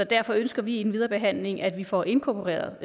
derfor ønsker vi i den videre behandling af vi får inkorporeret